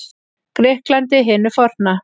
Grikklandi hinu forna.